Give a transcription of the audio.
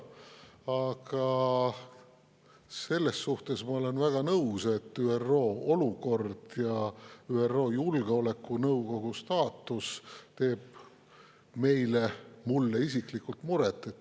Aga selles suhtes ma olen väga nõus, et ÜRO olukord ja ÜRO Julgeolekunõukogu staatus teeb meile, mulle isiklikult muret.